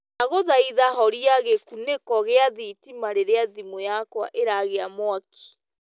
ndagũthaitha horĩa gikuniko gia thitima rĩrĩa thimu yakwa ĩragĩa mwakĩ